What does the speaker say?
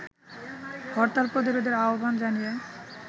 হরতাল প্রতিরোধের আহ্বান জানিয়ে